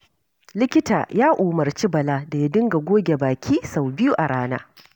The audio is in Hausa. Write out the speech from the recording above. Likita ya umarci Bala da ya dinga goge baki sau biyu a rana.